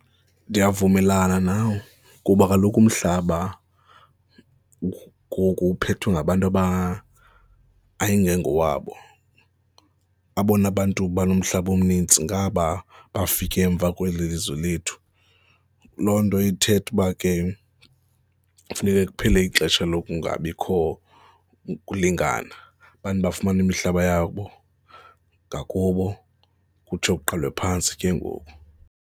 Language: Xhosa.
Ndiyavumelana nawe kuba kaloku umhlaba ngoku uphethwe ngabantu aba, ayingengowabo, abona bantu banomhlaba omnintsi ngaba bafike emva kweli lizwe lethu. Loo nto ithetha uba ke funeke kuphele ixesha lokungabikho kulingana, bantu bafumane imihlaba yabo ngakubo kutsho kuqalwe phantsi ke ngoku.